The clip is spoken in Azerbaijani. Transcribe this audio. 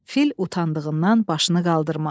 Fil utandığından başını qaldırmadı.